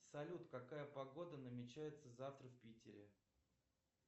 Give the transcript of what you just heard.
салют какая погода намечается завтра в питере